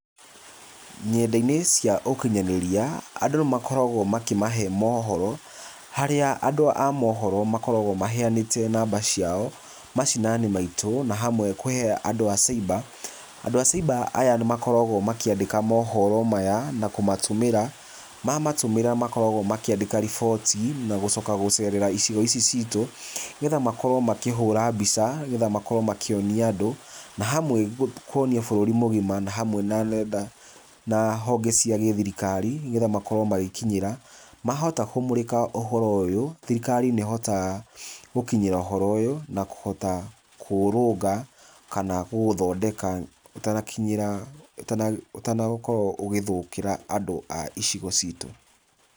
Ng'enda-inĩ cia ũkinyanĩria andũ nĩ makoragwo makĩmahe mohoro, harĩa andũ a mohoro makoragwo maheanĩte namba ciao macinani maitũ na hamwe kũhe andũ a cyber. Andũ a cyber aya nĩmakoragwo makĩandĩka mohoro maya na kũmatũmĩra. Mamatũmĩra makoragwo makĩandĩka riboti na gũcoka gũcerera icigo ici citũ, nĩgetha makorwo makĩhũra mbica, nĩgetha makorwo makĩonia andũ na hamwe kũonia bũrũri mũgima na hamwe na ng'enda na honge cia gĩthirikari, nĩgetha magĩkorwo magĩkinyĩra. Mahota kũmũrĩka ũhoro ũyũ, thirikari nĩ ĩhotaga gũkinyĩra ũhoro ũyũ na kũhota kũũrũnga kana kũũthondeka ũtanakinyĩra, ũtanakorwo ũgĩthũkĩra andũ a icigo citu.